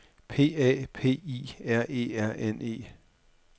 P A P I R E R N E